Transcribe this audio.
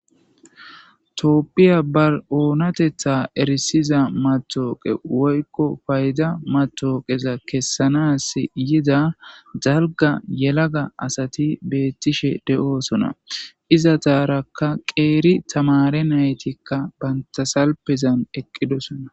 Tooppiya ba7oonatetha erisiza matooqe woykko payda matooqeza kessanas yida zalga yelaga asati beettishe de7oosona iza taarakka qeeri tamare naytikka bantasalpezan eqqidosona.